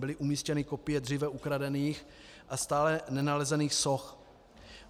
Byly umístěny kopie dříve ukradených a stále nenalezených soch.